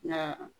Nka